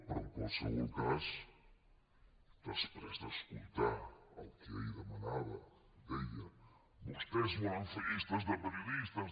però en qualsevol cas després d’escoltar el que ahir demanava deia vostès volen fer llistes de periodistes